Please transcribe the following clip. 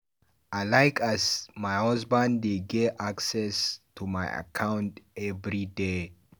I like as my husband dey get access to account everyday.